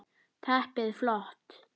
Teppið flott.